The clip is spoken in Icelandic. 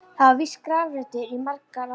Þar var víst grafreitur í margar aldir.